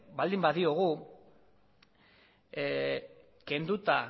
baldin badiogu kenduta